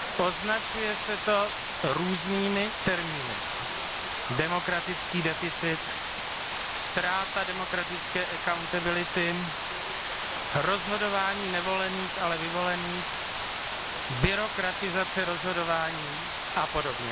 Označuje se to různými termíny demokratický deficit, ztráta demokratické accountability, rozhodování nevolených, ale vyvolených, byrokratizace rozhodování, apod.